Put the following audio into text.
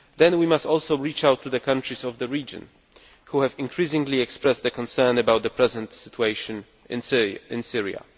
We must also reach out to the countries of the region which have increasingly expressed concern about the present situation in Syria.